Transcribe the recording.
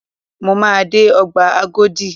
Mo máa dé Ọgbà Agodi.